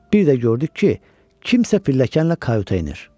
Bir də gördük ki, kimsə pilləkənlə Kayuta enir.